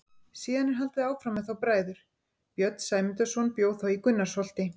Síðan er haldið áfram með þá bræður: Björn Sæmundarson bjó þá í Gunnarsholti.